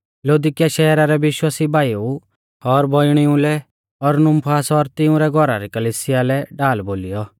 लौदीकिया शैहरा रै विश्वासी भाईऊ और बौइणिऊ लै और नुमफास और तिऊं रै घौरा री कलिसिया लै ढाल बोलीयौ